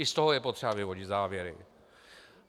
I z toho je potřeba vyvodit závěry.